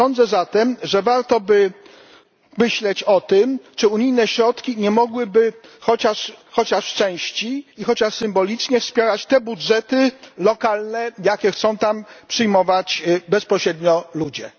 Sądzę zatem, że warto by myśleć o tym, czy unijne środki nie mogłyby chociaż w części i chociaż symbolicznie wspierać takich budżetów lokalnych, jakie chcą przyjmować bezpośrednio ludzie.